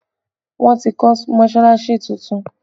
Wọn ti kọ́ mọsalasi tuntun tán